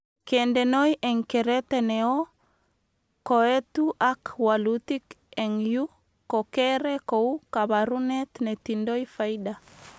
Kendenoi eng kerete neo koetu ak walutik eng yu ko kere kou kabarunet netindoi faida